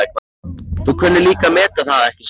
Þú kunnir líka að meta það, ekki satt?